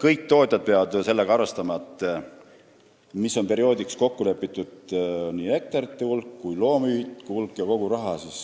kõik tootjad peavad arvestama sellega, et kindlaks perioodiks on kokku lepitud nii hektarite kui ka loomühikute hulk ja kogu rahasumma.